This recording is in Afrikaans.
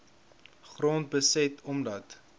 grond beset omdat